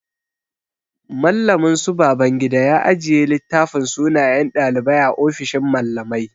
Mallamin su Babangida ya ajiye littafin sunayen ɗalibai a ofishin mallamai.